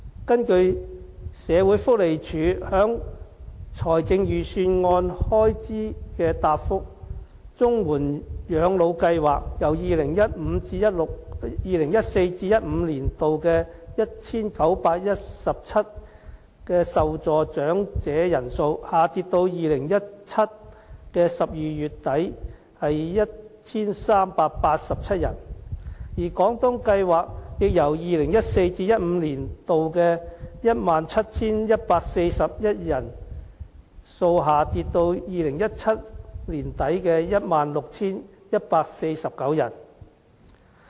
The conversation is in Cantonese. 根據社署在財政預算案開支的答覆：綜緩養老計劃由 2014-2015 年度的 1,917 名受助長者人數，下跌至2017年12月底的 1,387 人，而廣東計劃亦由 2014-2015 年度的 17,145 人下跌至2017年年底的 16,149 人。